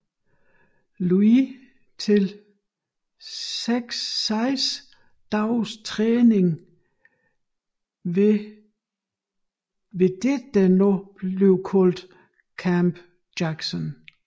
Louis til 6 dages træning ved der nu kaldes Camp Jackson